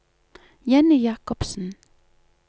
Jenny Jakobsen